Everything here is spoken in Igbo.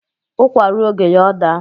There is time for everything